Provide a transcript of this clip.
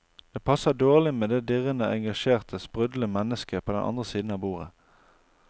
Det passer dårlig med det dirrende engasjerte, sprudlende mennesket på den andre siden av bordet.